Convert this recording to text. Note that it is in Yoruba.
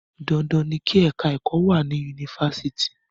Dandan ni kí ẹ̀ka ẹ̀kọ́ wà ní Yunifásitì.